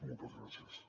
moltes gràcies